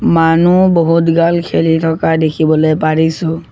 মানু্হ বহুত গাল খেলি থকা দেখিবলৈ পাৰিছোঁ।